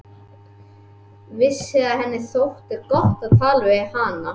Vissi að henni þótti gott að tala við hana.